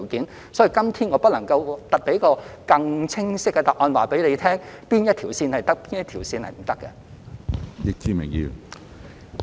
因此，今天我不能夠給予一個更清晰的答案，指明哪一條線可以，哪一條線不可以。